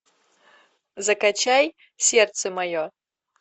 закачай сердце мое